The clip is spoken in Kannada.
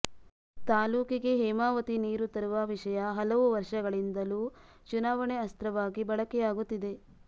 ತಾಲ್ಲೂಕಿಗೆ ಹೇಮಾವತಿ ನೀರು ತರುವ ವಿಷಯ ಹಲವು ವರ್ಷಗಳಿಂದಲೂ ಚುನಾವಣೆ ಅಸ್ತ್ರವಾಗಿ ಬಳಕೆಯಾಗುತ್ತಿದೆ